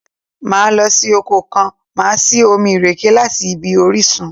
Máa lọ sí oko kan, màá sì omi ìrèké láti ibi orísun.